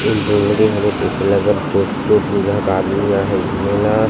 in दो म दे हरे तइसे लगत हे अलग देश के दू झक आदमी आए हे घूमे ला--